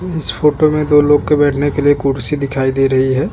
इस फोटो में दो लोग के बैठने के लिए कुर्सी दिखाई दे रही है।